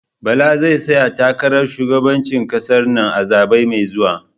Bala zai tsaya takarar shugabanci ƙasar nan a zabe mai zuwa